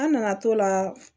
An nana t'o la